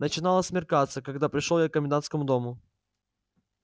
начинало смеркаться когда пришёл я к комендантскому дому